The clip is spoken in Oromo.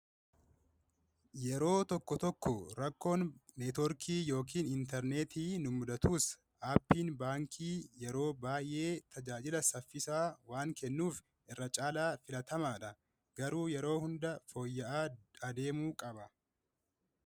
yeroo tokko tokko rakkoon neetwoorkii yookiin intarneetii numudatuus aappiin baankii yeroo baay'ee tajaajila saffisaa waan kennuuf irra caalaa filatamaa dha garuu yeroo hunda fooyya’aa adeemuu qaba